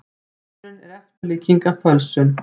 Maðurinn er eftirlíking af fölsun.